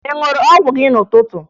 Ị ṅụrụ ọgwụ gị n'ụtụtụ?